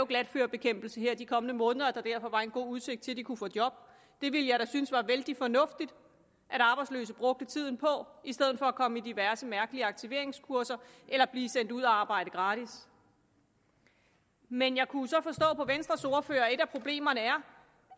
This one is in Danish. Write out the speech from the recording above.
glatførebekæmpelse her de kommende måneder og at der derfor var en god udsigt til at de kunne få job det ville jeg da synes var vældig fornuftigt at arbejdsløse brugte tiden på i stedet for at komme på diverse mærkelige aktiveringskurser eller blive sendt ud at arbejde gratis men jeg kunne jo så forstå på venstres ordfører at et af problemerne er